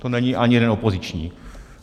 To není ani jeden opoziční.